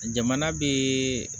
Jamana be